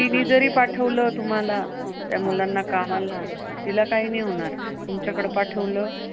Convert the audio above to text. म्हणजे तिने जरी पाठवलं तुम्हाला कामाला, त्या मुलांना तिला काही नाही होणार तुमच्याकडे पाठवलं,